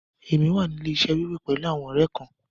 Èmi wà ní ilẹ̀-iṣẹ̀ wíwo pẹ̀lú àwọn ọ̀rẹ́ kán.